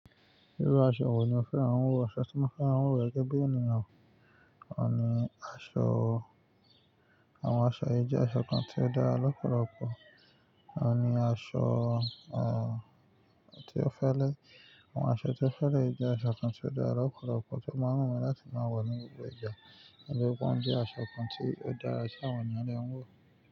Irú aṣọ wo ni o fẹ́ran wọ̀, aṣọ tí mo fẹ́ran wọ̀ gẹ́gẹ́ bí ènìyàn, ò ní aṣọ, àwọn aṣọ ẹ jẹ́ aṣọ kan tí ó dára lọ́pọ̀lọpọ̀, ò ní aṣọ, tí ó fẹ́rẹ, àwọn aṣọ tí ó fẹ́lẹ jẹ́ aṣọ kan tí ó dára lọ́pọ̀lọpọ̀ tí ó máa ń wù mí láti máa wọ̀ ní gbogbo ìgbà, nítorí wọ́n jẹ aṣọ kan tí ó dára tí àwọn ènìyàndẹ ń wọ̀